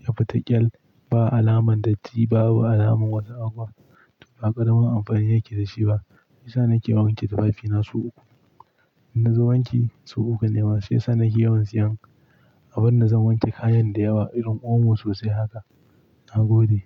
ya fita ƙyal, ba alamar datti, babu alamar wasu abu, haƙar marar amfani yake da shi ba. Shi yasa nake wanke tufafina su uku. In na zo wanke su uku nanema, sai sannan ke yawan siyan. Abin da zan wanke kayan da yawa irin omo sosai haka, na gode.